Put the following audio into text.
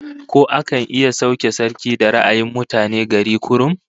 Ko akan iya sauke sarki da ra'ayin mutane gari kurum?